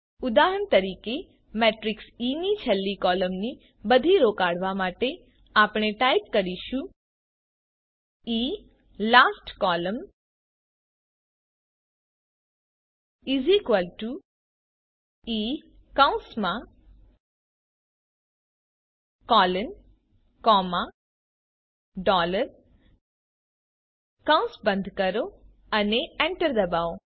ઉદાહરણ તરીકે matrix E ની છેલ્લી કોલમની બધી રો કાઢવા માટે આપણે ટાઇપ કરીશું gtE લાસ્ટ કોલમ્ન E કૌસ બંધ કરો અને એન્ટર ડબાઓ